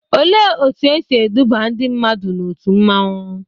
Olee otú e si eduba ndị mmadụ n'òtù mmanwu?